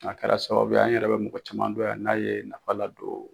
A kɛra sababuya an yɛrɛ bɛ mɔgɔ caman dɔn yan n'a ye nafa ladon.